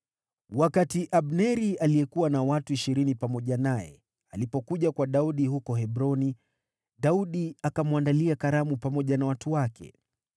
Wakati Abneri aliyekuwa na watu ishirini pamoja naye, alipokuja kwa Daudi huko Hebroni, Daudi akamwandalia karamu pamoja na watu wake.